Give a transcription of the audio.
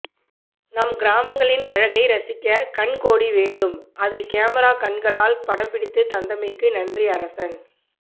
நம் கிராமங்களின் அழகை ரசிக்க கண் கோடி வேண்டும் அதை கேமரா கண்களால் படம் பிடித்து தந்தமைக்கு நன்றி அரசன்